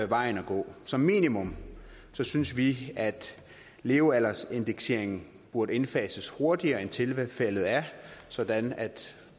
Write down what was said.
vejen at gå som minimum synes vi at levealdersindekseringen burde indfases hurtigere end tilfældet er sådan at